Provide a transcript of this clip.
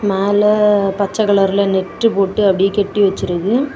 மேல பச்செ கலர்ல நெட்டு போட்டு அப்டியே கட்டி வெச்சிருக்க.